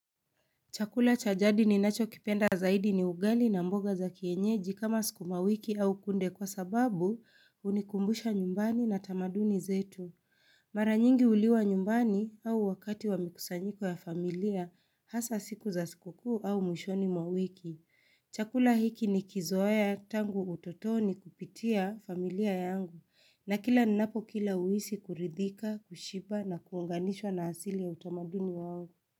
Chakula cha jadi ninachokipenda zaidi ni ugali na mboga za kienyeji kama sukumawiki au kunde kwa sababu unikumbusha nyumbani na tamaduni zetu. Mara nyingi uliwa nyumbani au wakati wa mikusanyiko ya familia hasa siku za siku kuu au mwishoni mwa wiki. Chakula hiki nikizoea tangu utotoni kupitia familia yangu na kila ninapo kila uhisi kuridhika, kushiba na kunganishwa na asili ya utamaduni wao.